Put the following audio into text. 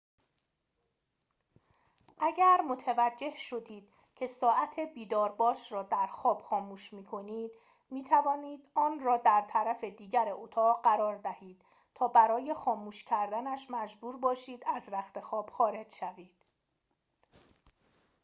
اگر متوجه شدید که ساعت بیدارباش را در خواب خاموش می‌کنید می‌تواند آن را در طرف دیگر اتاق قرار دهید تا برای خاموش کردنش مجبور باشید از رختخواب خارج شوید